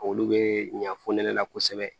Olu bɛ ɲa fonɛnɛ la kosɛbɛ